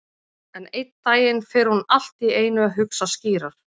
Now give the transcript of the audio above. En einn daginn fer hún allt í einu að hugsa skýrar.